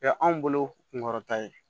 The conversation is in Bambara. Ya anw bolo kunkɔrɔta ye